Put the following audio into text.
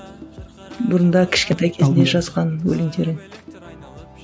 бұрында кішкентай кезіңде жазған өлеңдерің